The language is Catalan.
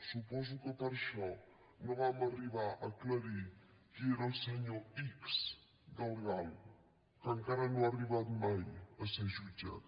suposo que per això no vam arribar a aclarir qui era el senyor ics del gal que encara no ha arribat mai a ser jutjat